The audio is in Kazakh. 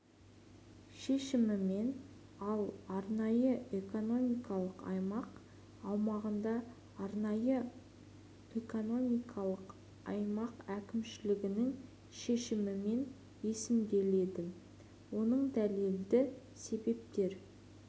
шешімімен ал арнайы экономикалық аймақ аумағында арнайы экономикалық аймақ әкімшілігінің шешімімен есімделеді оның дәлелді себептер